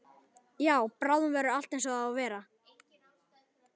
Já, bráðum verður allt einsog það á að vera.